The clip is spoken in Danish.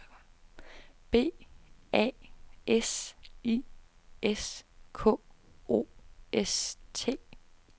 B A S I S K O S T